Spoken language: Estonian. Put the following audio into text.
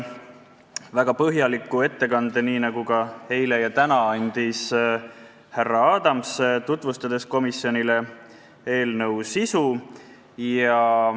Väga põhjaliku ettekande – nii nagu ka eile ja täna – tegi härra Adams, tutvustades komisjonile eelnõu sisu.